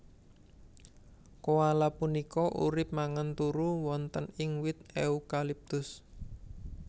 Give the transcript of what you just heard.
Koala punika urip mangan turu wonten ing wit eukaliptus